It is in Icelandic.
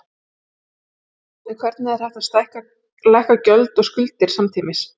En hvernig er hægt að lækka gjöld og skuldir samtímis?